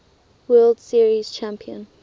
world series champion